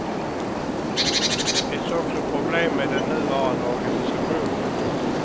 Det finns också problem med den nuvarande organisationen.